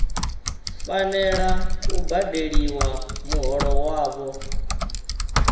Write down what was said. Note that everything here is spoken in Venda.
fanela u badeliwa muholo wavho